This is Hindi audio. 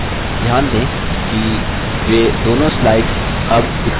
ध्यान दें कि वे दोनों slides अब दिखाई दे रही हैं